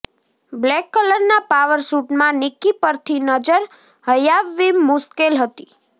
black કલરના power સુટમાં નિક્કી પરથી નજર હયાવવી મુશ્કેલ હતી